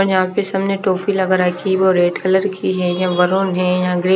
और यहां पे सामने टॉफी लग रहा है कीबोर्ड रेड कलर की है या है या ग्रे --